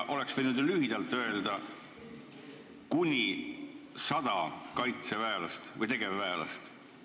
Oleks ju võinud lühidalt öelda, et sinna saadetakse kuni 100 tegevväelast.